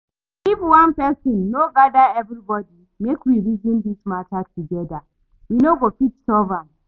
If one person no gather everybody make we reason dis matter together we no go fit solve am